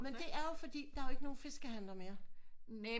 Men det er jo fordi der er ikke noget fiskehandler mere